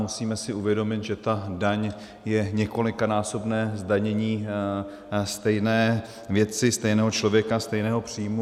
Musíme si uvědomit, že ta daň je několikanásobné zdanění stejné věci, stejného člověka, stejného příjmu.